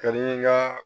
Ka di n ga